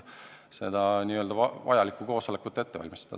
Heljo Pikhof, palun!